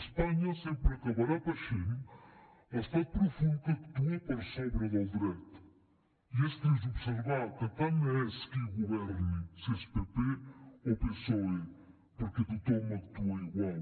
espanya sempre acabarà paixent l’estat profund que actua per sobre del dret i és trist observar que tant és qui governi si és pp o psoe perquè tothom actua igual